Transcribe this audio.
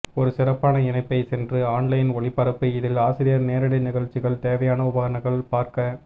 ஒரு சிறப்பான இணைப்பை சென்று ஆன்லைன் ஒளிபரப்பு இதில் ஆசிரியர் நேரடி நிகழ்ச்சிகள் தேவையான உபகரணங்கள் பார்க்க